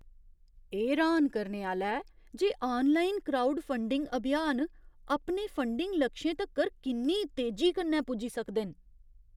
एह् र्हान करने आह्‌ला ऐ जे आनलाइन क्राउडफंडिंग अभियान अपने फंडिग लक्षें तक्कर किन्नी तेजी कन्नै पुज्जी सकदे न।